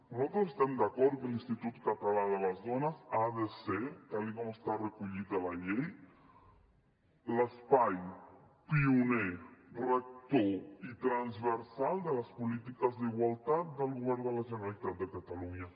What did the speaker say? nosaltres estem d’acord que l’institut català de les dones ha de ser tal com està recollit a la llei l’espai pioner rector i transversal de les polítiques d’igualtat del govern de la generalitat de catalunya